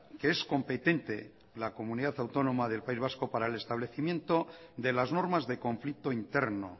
que es competente la comunidad autónoma del país vasco para el establecimiento de las normas de conflicto interno